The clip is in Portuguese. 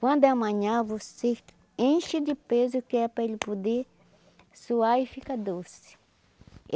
Quando é amanhã, você enche de peso que é para ele poder suar e ficar doce.